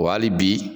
Wa hali bi